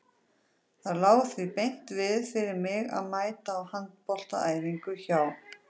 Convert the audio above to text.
Það lá því beint við fyrir mig að mæta á handboltaæfingar hjá